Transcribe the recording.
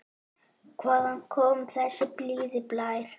Hvaðan kom þessi blíði blær?